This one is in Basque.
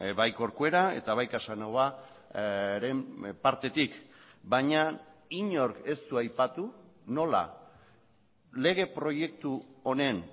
bai corcuera eta bai casanovaren partetik baina inork ez du aipatu nola lege proiektu honen